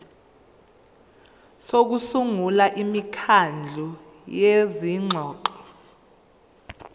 sokusungula imikhandlu yezingxoxo